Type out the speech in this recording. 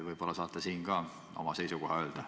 Võib-olla saate siin ka oma seisukoha öelda.